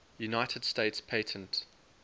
united states patent